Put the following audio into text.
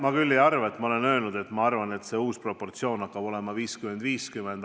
Ma ei arva, et olen öelnud, et uus proportsioon hakkab olema 50 : 50.